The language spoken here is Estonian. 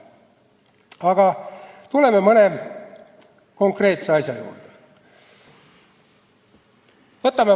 Aga tuleme mõne konkreetse asja juurde.